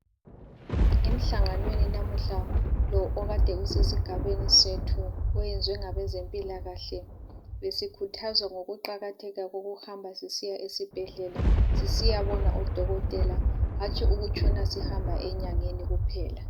Emhlanganweni namuhla lo okade usesigabeni sethu oyenzwe ngabezempilakahle, besikhuthazwa ngokuqakatheka kokuhamba sisiya esibhedlela sisiya bona udokotela, hatshi ukutshona sihamba enyangeni kuphela.